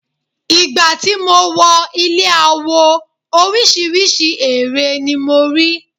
Ìgbà tí mo wọ ilé awo orísìírísìí ère ni mo rí.